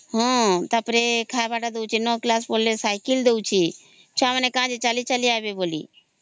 ହଁ ଟା ପରେ ନ କ୍ଲାସ ପଢିଲେ ସାଇକେଲ ଦଉଛେ ଛୁଆ ମାନେ କାଇଁ ଚାଲି ଚାଲି ଆଇବେ ବୋଲି